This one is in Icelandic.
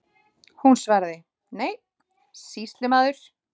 Hún svaraði: Nei, sýslumaður.